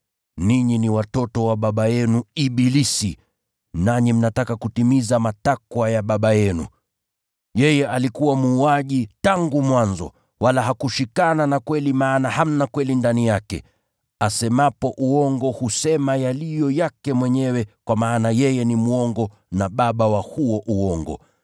Ninyi ni watoto wa baba yenu ibilisi, nanyi mnataka kutimiza matakwa ya baba yenu. Yeye alikuwa muuaji tangu mwanzo, wala hakushikana na kweli maana hamna kweli ndani yake. Asemapo uongo husema yaliyo yake mwenyewe kwa maana yeye ni mwongo na baba wa huo uongo.